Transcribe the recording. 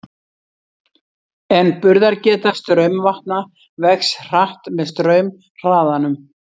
En burðargeta straumvatna vex hratt með straumhraðanum.